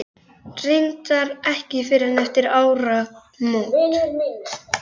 Reyndar ekki fyrr en eftir áramót.